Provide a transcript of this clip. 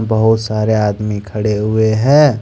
बहुत सारे आदमी खड़े हुए है।